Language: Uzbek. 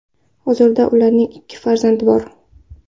Hozirda ularning ikki farzandi bor.